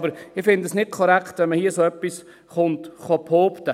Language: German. Aber ich finde es nicht korrekt, wenn man hier so etwas behaupten kommt.